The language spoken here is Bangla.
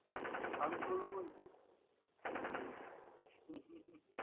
আমি করবো বলছিস?